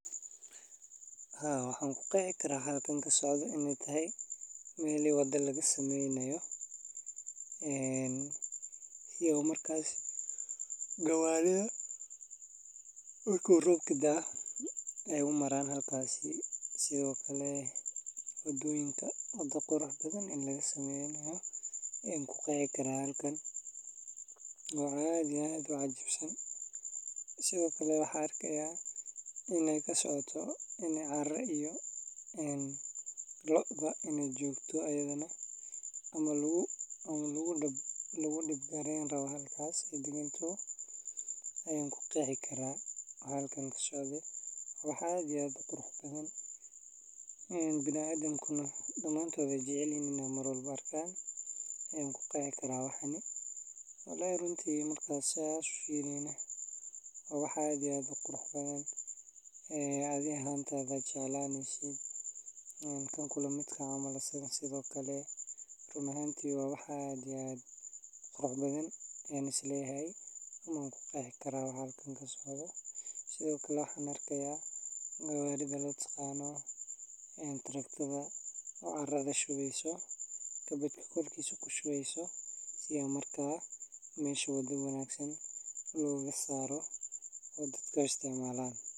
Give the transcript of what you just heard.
Haa waxan kuqeexi kara halkan wax kasocdo inay tahay mela wada lagasameynayo iyo markas gawarida marku robka daa ay umaran halkasi sido kale wadoonyinka wada qurux badan in laga sameynoya an kuqeexi kara halkan wa howl ad iyo ad u cajibsan sido kale waxan arakaya in aya kasocoto in cara iyo Loo inay jogto iyadana ama lagu dipgareyn rabo halkas ayan kuqeexi kara wa halkan kasocdo waxa jira wada qurux badan bini adamka damantood ay jecelyahin in ay marwalba arkan ayan kuqexi kara halkan. Walaahi runti marka sas u firiyo wa wax ad iyo ad u qurux badan e adi ahantada a jeclaneysid halkan camal sido kale wa wax qurux badan an isleeyahay anku qeexi kara waxa halkan kasocdo sido kale waxan arkaya gawarida mataqana Taraktada o carada shuubeyso kabad korikisa kushibeyso si ay marka mesha wada wanagsan logasaro si ay dadka umaran.